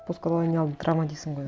постколониалды травма дейсің ғой